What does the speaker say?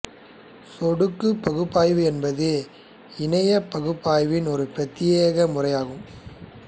சொடுக்குப் பகுப்பாய்வு என்பது இணையப் பகுப்பாய்வின் ஒரு பிரத்யேக முறையாகும்